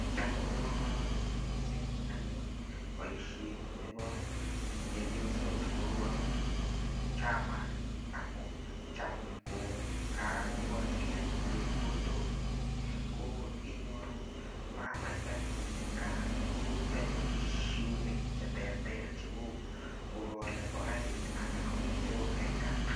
Cham kobo komanut mising anyun boishet nebo chepyosok neu akot chama, amu cham kokakokochgei anyun chepkondok ko inyoru mamait anyun eng kaa anyun eng kaa ko yoei boishonik anyun che terter cheu ngokaolei ngokaik ana ko ng'echerok eng kaa.